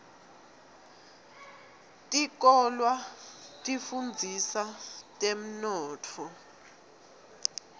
tikolwa tifundzisa temnotfo